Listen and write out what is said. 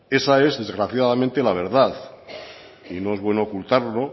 esa es desgraciadamente la verdad y no es bueno ocultarlo